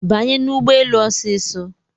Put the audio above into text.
Banye n'ụgbọelu osiso